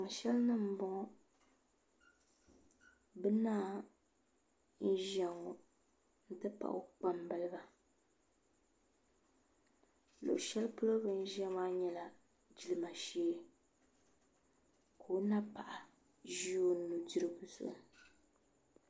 Tiŋ shɛli nim n boŋo bi naa n ʒiya ŋo n ti pahi o kpambaliba luɣu shɛli polo bi ni ʒiya maa nyɛla jilima shee ka o napaɣa ʒi o nudirigu zuɣu